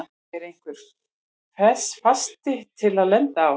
Er einhver fasti til þess að lenda á?